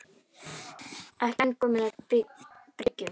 Ekki enn kominn að bryggju